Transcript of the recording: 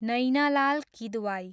Naina Lal Kidwai